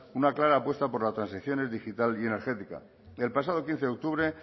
una clara apuesta por las transiciones digital y energética el pasado quince octubre